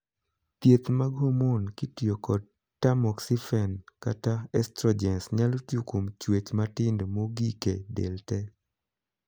Thieth mag 'hormon' kitiyo kod 'tamoxifen' kata 'estrogens' nyalo tiyo kuom chuech matindo mogike del tee.